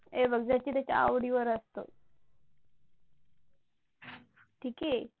हे बघ ज्याच्या त्याच्या आवडीवर असतो. ठीक आहे?